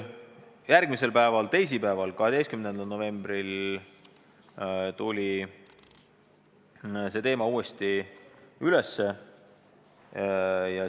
Järgmisel päeval, teisipäeval, 12. novembril tuli aga see teema uuesti üles.